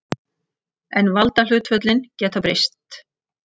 En valdahlutföllin geta breyst.